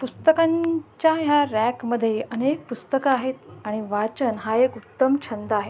पुस्तनकांच्या या रॅक मध्ये अनेक पुस्तक आहे आणि वाचण हा एक उत्तम छंद आहे.